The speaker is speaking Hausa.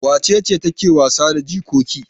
Wace ce take wasa da jikoki?